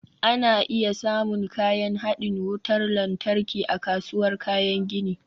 Ana iya samun kayan haɗin wutar lantarki a kasuwar kayan gini